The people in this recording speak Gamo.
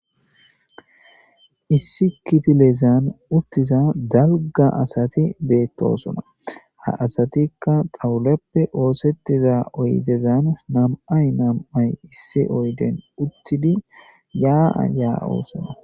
Issi kifilezan uttiza dalga asati beettosona ha asatikka xawuleppe oosettiza oydezan namay nam7ay issi oyden uttidi yaa7a ya7oosona